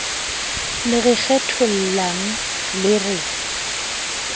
le re kgethollang le re